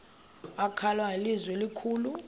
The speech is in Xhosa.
wakhala ngelizwi elikhulu